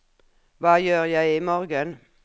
hva gjør jeg imorgen